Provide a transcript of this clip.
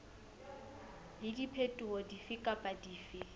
le diphetoho dife kapa dife